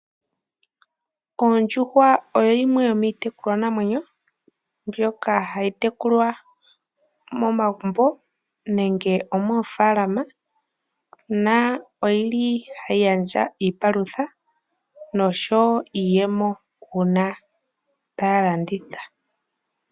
Ondjuhwa oyo yimwe yomiitekulwa namwenyo, ndyoka hayi tekulwa momagumbo nenge moofalama, na oyili hayi gandja iipalutha, noshowo iiyemo uuna taya landitha.